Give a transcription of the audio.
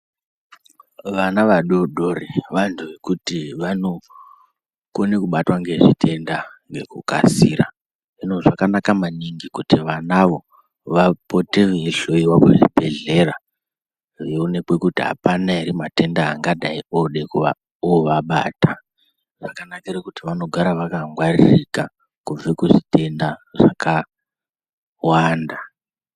Vana vadodori vantu vekuti vanokone kubatwa ngezvitenda ngekukasira hino zvakanaka maningi kuti vanavo vapote veihlowiwa kuzvibhedhlera veionekwe kuti apana ere matenda angadai ode ovabata. Zvakanakire kuti vanogara vakangwaririka kubva kuzvitenda zvakawanda.